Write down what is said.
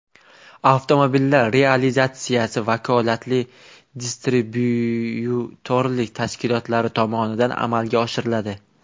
Avtomobillar realizatsiyasi vakolatli distribyutorlik tashkilotlari tomonidan amalga oshiriladi”.